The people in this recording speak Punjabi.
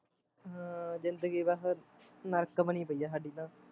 ਆਹ ਜ਼ਿੰਦਗੀ ਤਾਂ ਫਿਰ ਨਰਕ ਬਣੀ ਪਈ ਐ ਸਾਡੀ ਤਾਂ